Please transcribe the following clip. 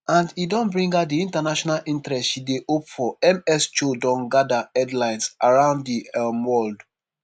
and e don bring her di international interest she dey hope for ms choi don gada headlines around di um world